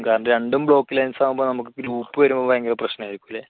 കാരണം രണ്ടും block lense ആവുമ്പോൾ നമുക്ക് group വരുമ്പോൾ ഒരു ഭയങ്കര പ്രശ്നമായിരിക്കും